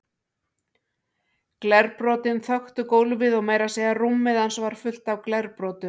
Glerbrotin þöktu gólfið og meira að segja rúmið hans var fullt af glerbrotum.